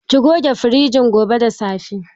Ki goge firijin gobe da safe.